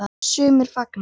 Sumir fagna.